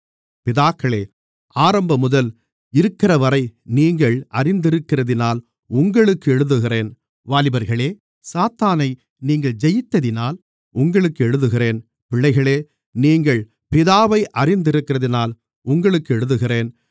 பிதாக்களே ஆரம்பமுதல் இருக்கிறவரை நீங்கள் அறிந்திருக்கிறதினால் உங்களுக்கு எழுதுகிறேன் வாலிபர்களே சாத்தானை நீங்கள் ஜெயித்ததினால் உங்களுக்கு எழுதுகிறேன் பிள்ளைகளே நீங்கள் பிதாவை அறிந்திருக்கிறதினால் உங்களுக்கு எழுதுகிறேன்